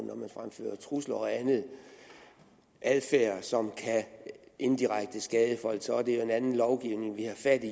når man fremfører trusler og anden adfærd som indirekte kan skade folk så er det en anden lovgivning vi har fat i